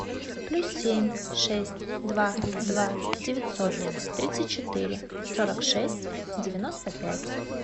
плюс семь шесть два два девятьсот тридцать четыре сорок шесть девяносто пять